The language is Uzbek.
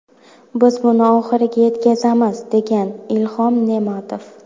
Biz buni oxiriga yetkazamiz”, degan Ilhom Ne’matov.